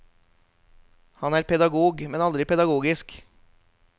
Han er pedagog, men aldri pedagogisk.